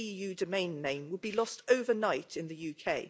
.eu domain name will be lost overnight in the UK.